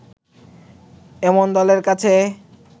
এমন দলের কাছে